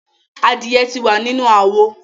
Adie ti wa ni inu awo